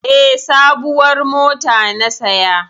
E, sabuwar mota na saya.